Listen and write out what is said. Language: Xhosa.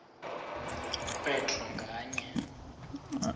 kwe draw nganye